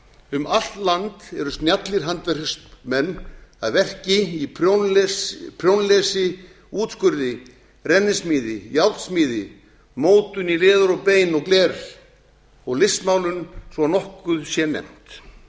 um allt land eru snjallir handverksmenn að verki í prjónlesi útskurði rennismíði járnsmíði mótun í leður og bein og gler og listmálun svo að nokkuð sé nefnt